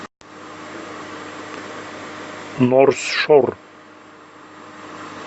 норс шор